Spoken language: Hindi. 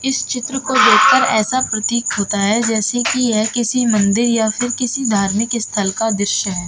इस चित्र को देखकर ऐसा प्रतीक होता है जैसे कि यह किसी मंदिर या किसी धार्मिक स्थल का दृश्य है।